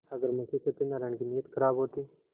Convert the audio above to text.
अगर मुंशी सत्यनाराण की नीयत खराब होती